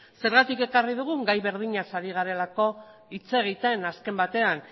zergatik ekarri dugu gai berdinaz ari garelako hitz egiten azken batean